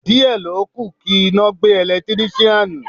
Díẹ̀ ló kù kí iná gbé Ẹ̀lẹ́tíríṣàn.